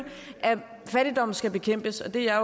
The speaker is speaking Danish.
at fattigdom skal bekæmpes og det er